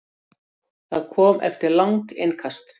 Það kom eftir langt innkast.